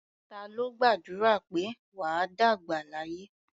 Ta ló gbàdúrà pé "wà á dàgbà láyé"?